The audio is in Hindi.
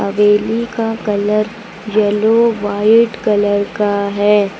रेली का कलर येलो व्हाइट कलर का है।